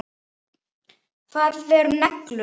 Hvað eru neglur?